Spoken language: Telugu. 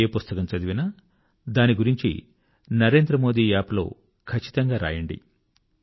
ఏ పుస్తకం చదివినా దాని గురించి నరేంద్రమోది App లో ఖచ్చితంగా వ్రాయండి